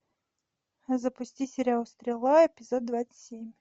запусти сериал стрела эпизод двадцать семь